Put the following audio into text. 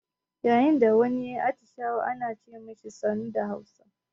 Yayin da wani ya yi atishawa ana ce ma shi "sannu" da Hausa.